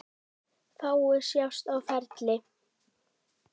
Fáir sjást á ferli.